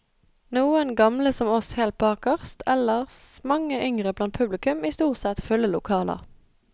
Noen gamle som oss helt bakerst, ellers mange yngre blant publikum i stort sett fulle lokaler.